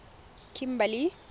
kimberley